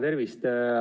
Tervist!